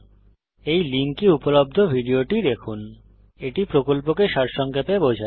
এই লিঙ্কে উপলব্ধ ভিডিওটি দেখুন httpspokentutorialorgWhat is a Spoken Tutorial এটি কথ্য টিউটোরিয়াল প্রকল্পকে সারসংক্ষেপে বোঝায়